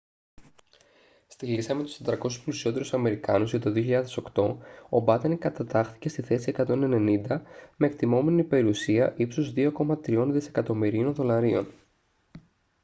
στη λίστα με τους 400 πλουσιότερους αμερικάνους για το 2008 ο batten κατατάχθηκε στη θέση 190 με εκτιμώμενη περιουσία ύψους 2,3 δισεκατομμυρίων δολαρίων